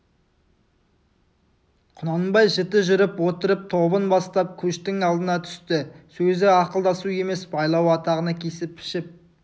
құнанбай жіті жүріп отырып тобын бастап көштің алдына түсті сөзі ақылдасу емес байлау атағаны кесіп пішіп